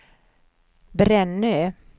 Brännö